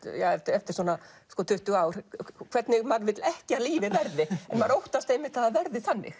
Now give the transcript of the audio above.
eftir svona tuttugu ár hvernig maður vill ekki að lífið verði maður óttast einmitt að það verði þannig